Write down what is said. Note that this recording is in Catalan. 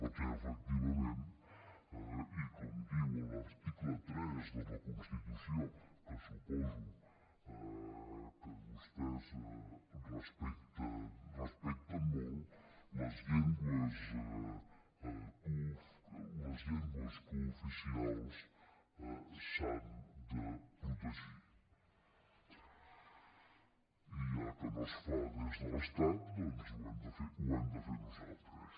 perquè efectivament i com diu l’article tres de la constitució que suposo que vostès respecten molt les llengües cooficials s’han de protegir i ja que no es fa des de l’estat doncs ho hem de fer nosaltres